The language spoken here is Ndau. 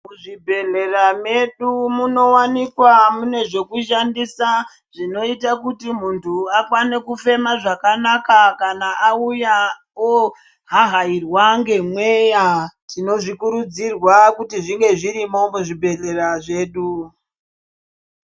Mu zvibhedhlera medu muno wanikwa mune zvoku shandisa zvinoita kuti muntu akone kufema zvakanaka kana auya o hahairwa nge mweya tinozvi kurudzirwa kuti zvinge zvirimo mu zvibhedhlera zvedu.